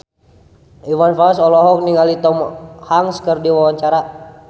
Iwan Fals olohok ningali Tom Hanks keur diwawancara